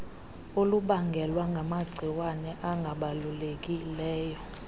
olubangelwa ngamagciwane angabulalekileyo